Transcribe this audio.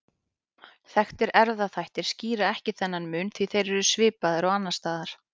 Þekktir erfðaþættir skýra ekki þennan mun því þeir eru svipaðir og annars staðar.